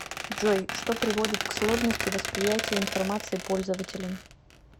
джой что приводит к сложности восприятия информации пользователем